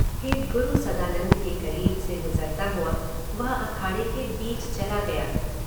फिर गुरु सदानंद के करीब से गुज़रता हुआ वह अखाड़े के बीच चला गया।